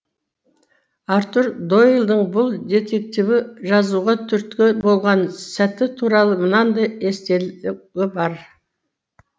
артур дойлдың бұл детективті жазуға түрткі болған сәті туралы мынандай естелігі бар